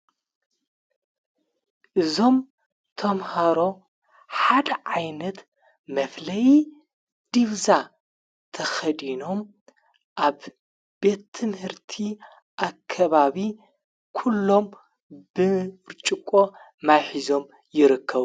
እዞም ቶምሃሮ ሓደ ዓይነት መፍለይ ዲብዛ ተኸዲኖም ኣብ ቤትምህርቲ ኣከባቢ ኲሎም ብርጭቆ ማይ ሒዞም ይረከቡ።